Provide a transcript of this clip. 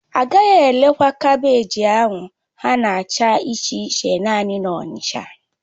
Agaghị erekwa kaabéji ahụ ha na-acha iche iche naanị na Onicha